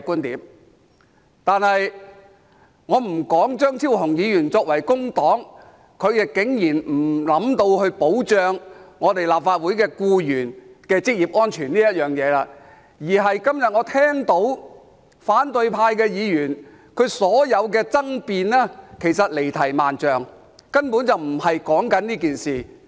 然而，我先不說張超雄議員身為工黨成員，竟然沒有想過保障立法會僱員的職業安全，而今天我聽到反對派議員的所有爭辯其實離題萬丈，根本不是在說這件事。